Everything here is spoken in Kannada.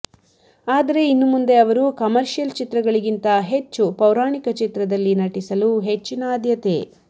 ಆದರೆ ಇನ್ನುಮುಂದೆ ಅವರು ಕಮರ್ಷಿಯಲ್ ಚಿತ್ರಗಳಿಗಿಂತ ಹೆಚ್ಚು ಪೌರಾಣಿಕ ಚಿತ್ರದಲ್ಲಿ ನಟಿಸಲು ಹೆಚ್ಚಿನ ಆದ್ಯತೆ